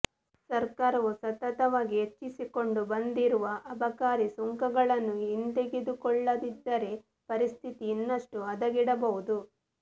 ಸರಕಾರವು ಸತತವಾಗಿ ಹೆಚ್ಚಿಸಿಕೊಂಡು ಬಂದಿರುವ ಅಬಕಾರಿ ಸುಂಕಗಳನ್ನು ಹಿಂದೆಗೆದುಕೊಳ್ಳ್ಳದಿದ್ದರೆ ಪರಿಸ್ಥಿತಿ ಇನ್ನಷ್ಟು ಹದಗೆಡಬಹುದು